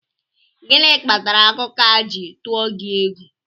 Gịnị kpatara akụkọ a ji tụọ gị egwu?